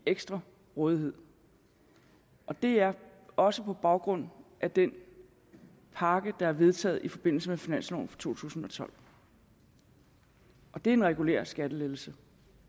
ekstra rådighed det er også på baggrund af den pakke der er vedtaget i forbindelse med finansloven for to tusind og tolv og det er en regulær skattelettelse